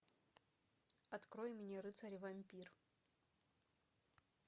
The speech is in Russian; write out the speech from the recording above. открой мне рыцарь и вампир